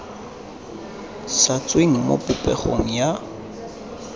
sa tsweng mo popegong ya